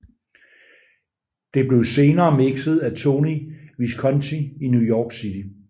Det blev senere mixet af Tony Visconti i New York City